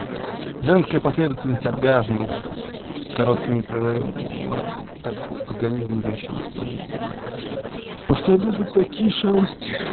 женская последовательность оргазмов с короткими прерывами так организм женщины устроен что способен на такие шалости